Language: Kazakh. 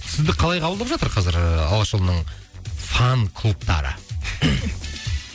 сізді қалай қабылдап жатыр қазір ы алашұлының фан клубтары